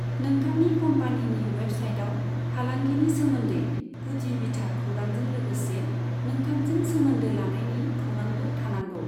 नोंथांनि क'म्पानिनि वेबसाइटआव फालांगिनि सोमोन्दै गुदि बिथा खौरांजों लोगोसे नोंथांजों सोमोन्दो लानायनि खौरांबो थानांगौ।